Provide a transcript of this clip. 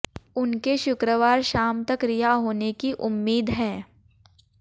उनके शुक्रवार शाम तक रिहा होने की उम्मीद है